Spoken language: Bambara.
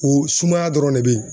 O sumaya dɔrɔn de be yen.